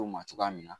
U ma cogoya min na